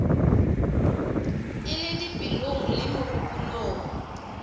e le dipelong le megopolong